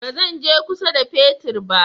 Ba zan je kusa da fetir ba